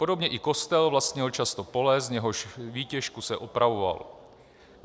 Podobně i kostel vlastnil často pole, z jehož výtěžku se opravoval.